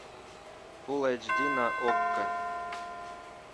фулл айч ди на окко